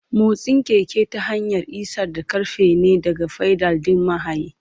Motsin keke ta hanyar isar da ƙarfi ne daga fedal ɗin mahayi.